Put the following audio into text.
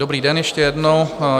Dobrý den ještě jednou.